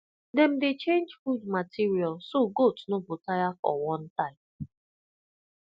dem dey change food material so goat no go tire for one type